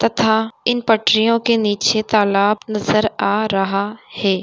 तथा इन पटरियों के नीचे तालाब नजर आ रहा है।